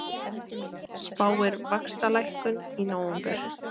Spáir vaxtalækkun í nóvember